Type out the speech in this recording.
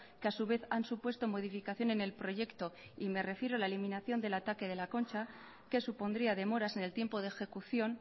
que a su vez han supuesto modificación en el proyecto y me refiero a la eliminación del ataque de la concha que supondría demoras en el tiempo de ejecución